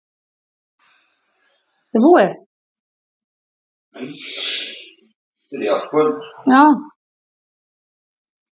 Sjávarhiti er víðast hvar mjög hár í hitabeltinu.